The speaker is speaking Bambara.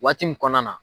Waati min kɔnɔna na